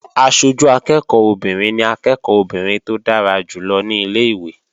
Aṣojú akẹ́ẹ̀kọ́ obìnrin ni akẹ́ẹ̀kọ́ obìnrin tó dára jù lọ ní ilé-ìwé